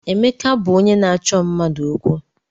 Emeka bụ onye na-achọ mmadụ okwu.